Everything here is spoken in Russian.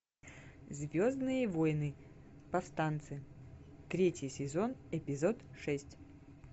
звездные войны повстанцы третий сезон эпизод шесть